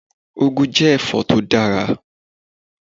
Úgu jẹ́ ẹ̀fọ́ tó dára.